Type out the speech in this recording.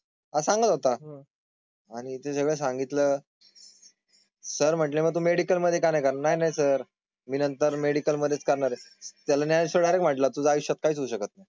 सांगत होता आणि त्याच्या सांगितलं. सर म्हणाले, मेडिकल मध्ये काय काय नाही नाही सर? मी नंतर मेडिकल मध्ये करणार आहे. त्याला ज्ञानेश्वर डायरेक्ट म्हंटल तुझं आयुष्यात काहीच होऊ शकत नाही.